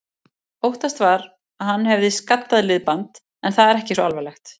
Óttast var að hann hefði skaddað liðband, en það er ekki svo alvarlegt.